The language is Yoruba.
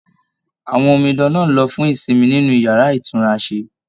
Àwọn omidan náà lọ fún ìsinmi nínú yàrá itunrase.